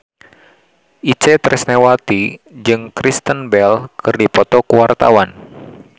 Itje Tresnawati jeung Kristen Bell keur dipoto ku wartawan